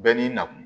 Bɛɛ n'i na kun